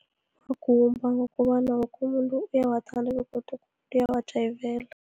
Amagumba ngokobana woke umuntu uyawathanda begodu uyawajayivela.